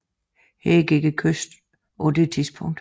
Her gik kysten på det tidspunkt